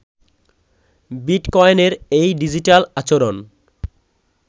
বিটকয়েনের এই ডিজিটাল আচরণ